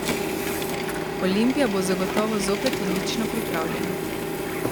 Olimpija bo zagotovo zopet odlično pripravljena.